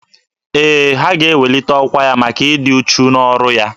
Ee, ha ga-eweli ọkwa ya maka ịdị uchu n'ọrụ ya.